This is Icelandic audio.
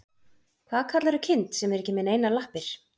Hvað kallarðu kind sem er ekki með neinar lappir?